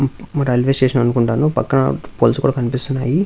Railway station అనుకుంటాను పక్కన poles కూడా కనిపిస్తున్నాయి.